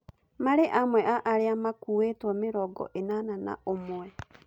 Marĩ amwe a arĩa makuitwo mĩrongo ĩnana na ũmwe.